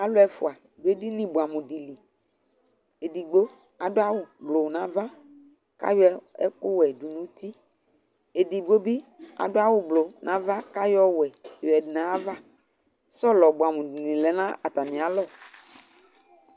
Alʋ ɛfʋa dʋ edini bʋɛamʋ dɩ li Edigbo adʋ awʋblʋ nʋ ava kʋ ayɔ ɛkʋwɛ dʋ nʋ uti Edigbo bɩ adʋ awʋblʋ nʋ ava kʋ ayɔ ɔwɛ yɔyǝdu nʋ ayava Sɔlɔ bʋɛamʋ dɩnɩ lɛ nʋ atamɩalɔ